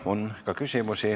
On ka küsimusi.